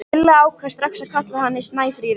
Lilla ákvað strax að kalla hana Snæfríði.